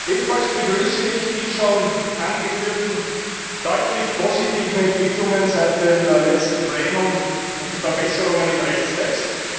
Ebenfalls begrüße ich die schon angeführten deutlich positiven Entwicklungen seit dem letzten Plenum und die Verbesserungen im Rechtstext.